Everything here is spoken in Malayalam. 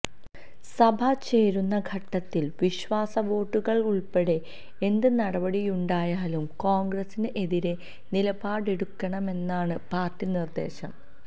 സഭ ചേരുന്ന ഘട്ടത്തില് വിശ്വാസ വോട്ടെടുപ്പുൾപ്പെടെ എന്ത് നടപടിയുണ്ടായാലും കോണ്ഗ്രസിന് എതിരെ നിലപാടെടുക്കണമെന്നാണ് പാർട്ടി നിര്ദേശം